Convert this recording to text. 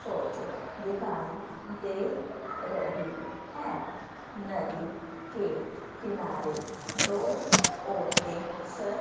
photo दिखाई दे रही है नदी के किनारे दो औरतें स--